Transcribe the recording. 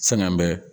Fɛnkɛ bɛ